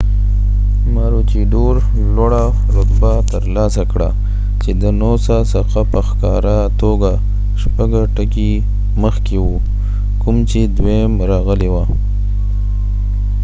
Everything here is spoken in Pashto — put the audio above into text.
ماروچیدور لوړه رتبه ترلاسه کړه چې د نوسا څخه په ښکاره توګه شپږه ټکي مخکې و کوم چې دویم راغلی و